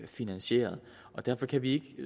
finansieret derfor kan vi ikke